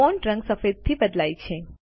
font રંગ સફેદથી બદલાય છે